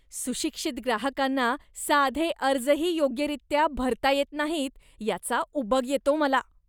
सुशिक्षित ग्राहकांना साधे अर्जही योग्यरीत्या भरता येत नाहीत याचा उबग येतो मला.